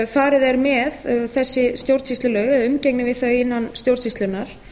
farið er með þessi stjórnsýslulög eða umgengni við þau innan stjórnsýslunnar